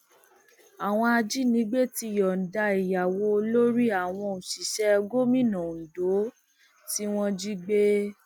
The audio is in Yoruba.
àwọn ajínigbé ti yọǹda ìyàwó olórí àwọn òṣìṣẹ gómìnà ondo tí wọn jí gbé